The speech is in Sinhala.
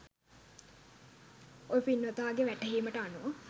ඔය පින්වතාගේ වැටහීමට අනුව